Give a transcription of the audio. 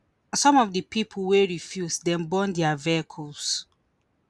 some of di pipo wey refuse dem burn dia vehicles